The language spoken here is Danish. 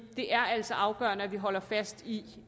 det er altså afgørende at vi holder fast i